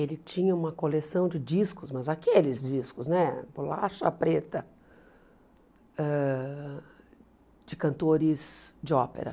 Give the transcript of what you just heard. Ele tinha uma coleção de discos, mas aqueles discos né, bolacha preta, ãh de cantores de ópera.